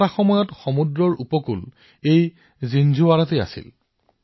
ইয়াৰ অৰ্থ হৈছে যে প্ৰথম উপকূলীয় স্থান জিঞ্জৱাৰালৈকে আছিল